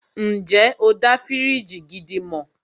Ǹjẹ́ o dá fíríjì gidi mọ̀?